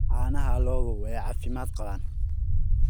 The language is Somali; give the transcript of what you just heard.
Caanaha lo'du waa caafimaad qabaan.